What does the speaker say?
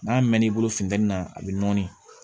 N'a mɛn n'i bolo funtɛni na a bɛ nɔɔni